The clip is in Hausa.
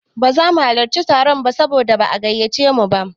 Ba za mu halarci taron ba saboda ba'a gayyace mu ba.